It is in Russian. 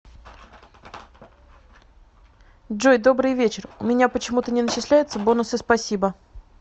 джой добрый вечер у меня почему то не начисляются бонусы спасибо